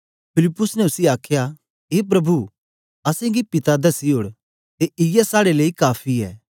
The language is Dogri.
फिलिप्पुस ने उसी आखया ए प्रभु असेंगी पिता दसी ओड़ ते इयै साडे़ लेई काफी ऐ